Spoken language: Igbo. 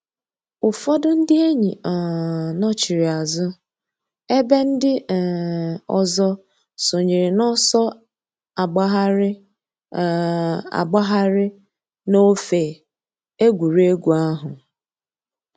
Ụ́fọ̀dù ńdí èn̄yì um nọ̀chiri àzụ̀ èbè ńdí um òzò sọǹyèrè n'ọ̀sọ̀ àgbàghàrì um àgbàghàrì n'òfè ègwè́régwụ̀ àhụ̀.